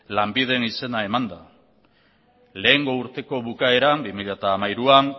lanbiden izena emanda lehengo urteko bukaeran bi mila hamairuan